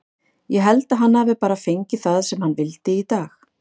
Ég held að hann hafi bara fengið það sem hann vildi í dag.